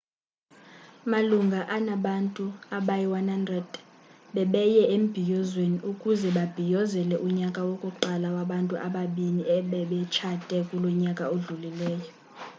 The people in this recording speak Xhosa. malunga anabantu abayi-100 bebeye embhiyozweni ukuze babhiyozele unyaka wokuqala wabantu ababini ebebetshate kulo nyaka udlulileyo